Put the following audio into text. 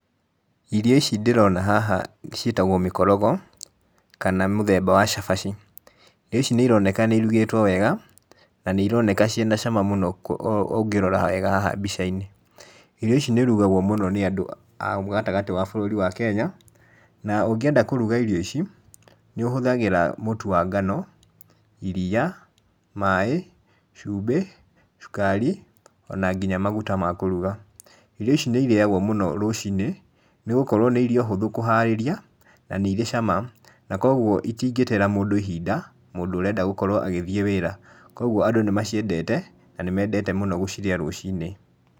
Irio ici ndĩrona haha ciĩtagwo mĩkorogo, kana mũthemba wa cabaci, irio ici nĩ ironeka nĩ irugĩtwo wega, na nĩ ironeka cĩ na cama mũno ũngĩrora wega haha mbica-inĩ. Irio ici nĩ irugagwo mũno nĩ andũ a gatagatĩ wa bũrũri wa Kenya, na ũngĩenda kũruga irio ici, nĩ ũhũthagĩra mũtu wa ngano, iria, maĩ, cumbĩ, cũkari, o na nginya maguta ma kũruga. Irio ici nĩ irĩagwo mũno rũcinĩ, nĩ gũkorwo nĩ irio hũthũ kũharĩria, na nĩ irĩ cama na kogwo itingĩteera mũndũ ihinda, mũndũ ũrenda gũkorwo agĩthiĩ wĩra. Kogwo andũ nĩ maciendete na nĩ mendete mũno gũcirĩa rũcinĩ.